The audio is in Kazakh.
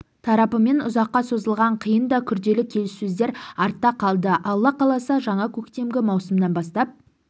тарапымен ұзаққа созылған қиын да күрделі келсісөздер артта қалды алла қаласа жаңа көктемгі маусымнан бастап